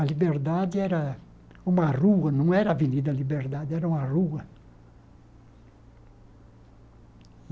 A liberdade era uma rua, não era a Avenida Liberdade, era uma rua.